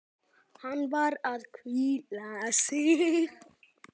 Hann var að hvíla sig.